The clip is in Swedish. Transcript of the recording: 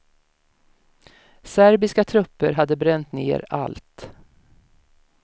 Serbiska trupper hade bränt ner allt.